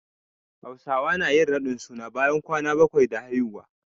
Hausawa nayin radin suna bayan kwana bakwai da haihuwa